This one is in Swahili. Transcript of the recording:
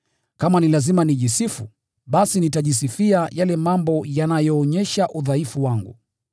Kama ni lazima nijisifu, basi nitajisifia yale mambo yanayoonyesha udhaifu wangu.